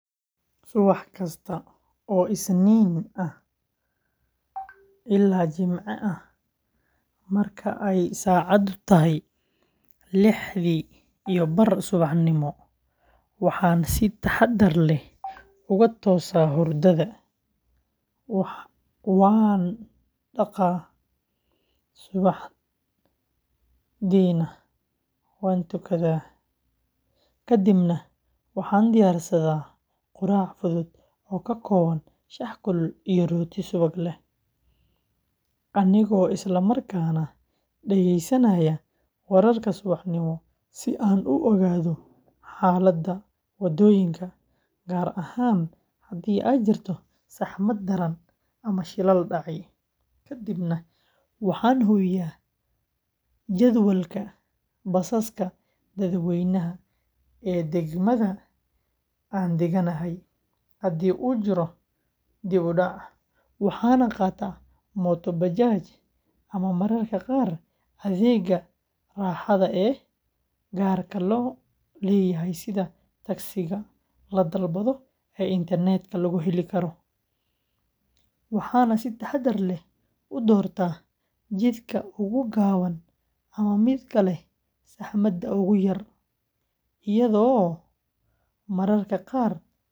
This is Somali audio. Horta in la isticmaalo waxeey kobcisa dalaga ilaa laba jeer waxa laga helo waa faidooyin aad muhiim ugu yihiin malmoodka kadib waxaan tartib tartiib tartiib ah ukulele kuleel toho oo meelaha dagan tahay waxaa u imaadeen qoloyin dalxiis ah meeshan waxaa waye inaad sarif ooga baahatid sido kale and spinach and xafada iwrn setahay xlda Qalpiii shaqa ayaan haaya waxaa kamuqda xirfad nololeed.